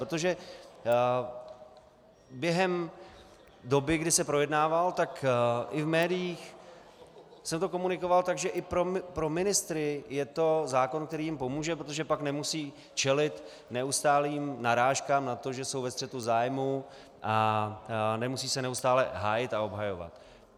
Protože během doby, kdy se projednával, tak i v médiích se to komunikovalo tak, že i pro ministry je to zákon, který jim pomůže, protože pak nemusí čelit neustálým narážkám na to, že jsou ve střetu zájmů, a nemusí se neustále hájit a obhajovat.